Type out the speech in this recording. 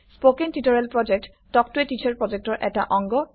spoken tutorial প্ৰকল্প talk to a teacher প্ৰকল্পৰ এটা অংগ